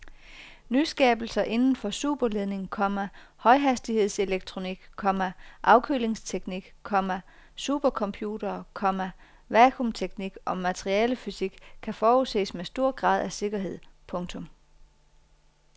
Nyskabelser inden for superledning, komma højhastigheds elektronik, komma afkølingsteknik, komma supercomputere, komma vacuumteknik og materialefysik kan forudses med stor grad af sikkerhed. punktum